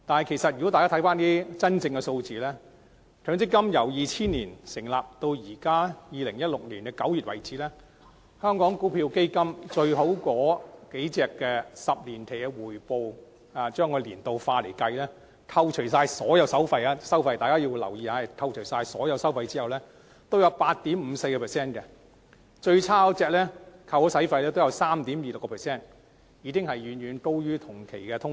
但是，如果大家看看一些真實的數字，強積金自2000年成立至2016年9月為止，表現最好的若干香港股票基金的10年期回報，若以年率化計算，在扣除所有收費後——大家留意是扣除所有收費後——也有 8.54%， 而最差也有 3.26%， 遠高於同期的通脹。